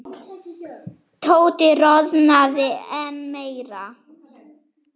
Tóti roðnaði enn meira.